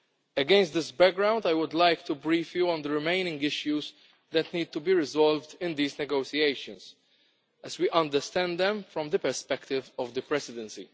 Against this background, I would like to brief you on the remaining issues that need to be resolved in these negotiations, as we understand them from the perspective of the Presidency.